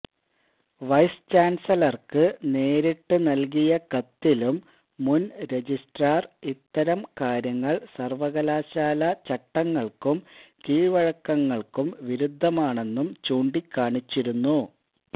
vice ചാന്സലര്ക്ക് നേരിട്ട് നല്കിയ കത്തിലും മുന് രജിസ്ട്രാര് ഇത്തരം കാര്യങ്ങള് സര്വകലാശാലാ ചട്ടങ്ങള്ക്കും കീഴ്വഴക്കങ്ങള്ക്കും വിരുദ്ധമാണെന്നും ചൂണ്ടിക്കാണിച്ചിരുന്നു